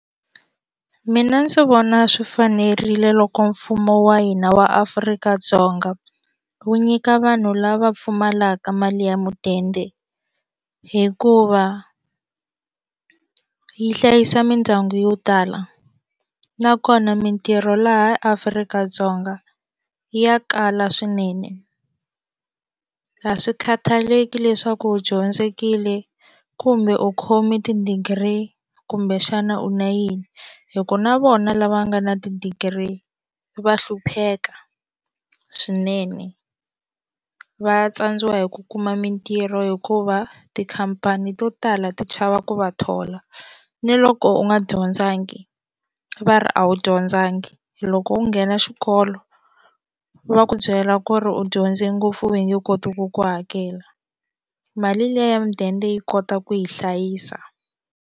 Mina ndzi vona swi fanerile loko mfumo wa hina wa Afrika-Dzonga wu nyika vanhu lava pfumalaka mali ya mudende hikuva u yi hlayisa mindyangu yo tala nakona mitirho laha Afrika-Dzonga ya kala swinene a swi khataleki leswaku u dyondzekile kumbe u khome ti-degree kumbexana u na yini hikuva na vona lava nga na ti-degree va hlupheka swinene va tsandziwi hi ku kuma mintirho hikuva tikhampani to tala ti chava ku va thola ni loko u nga dyondzanga va ri a wu dyondzangi loko u nghena xikolo va ku byela ku ri u dyondze ngopfu va nge koti ku ku hakela mali liya ya mudende yi kota ku yi hlayisa.